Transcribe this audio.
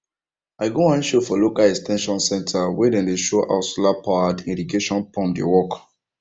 i go one show for local ex ten sion centre wey dem show how solarpowered irrigation pump dey work